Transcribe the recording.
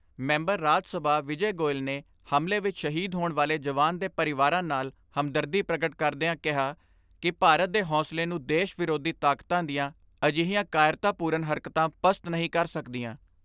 Member Rajya Sabha Vijay Goel ਨੇ ਹਮਲੇ ਵਿੱਚ ਸ਼ਹੀਦ ਹੋਣ ਵਾਲੇ ਜਵਾਨ ਦੇ ਪਰਿਵਾਰਾਂ ਨਾਲ ਹਮਦਰਦੀ ਪ੍ਰਗਟ ਕਰਦਿਆਂ ਕਿਹਾ ਕਿ ਭਾਰਤ ਦੇ ਹੌਂਸਲੇ ਨੂੰ ਦੇਸ਼ ਵਿਰੋਧੀ ਤਾਕਤਾਂ ਦੀਆਂ ਅਜਿਹੀਆਂ ਕਾਇਰਤਾ ਪੂਰਨ ਹਰਕਤਾਂ ਪਸਤ ਨਹੀਂ ਕਰ ਸਕਦੀਆਂ।